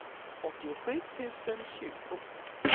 åttiosju tusen tjugo